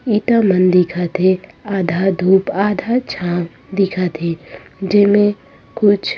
ईटा मन दिखत हे आधा धुप आधा छाँव दिखत हे जेमे कुछ--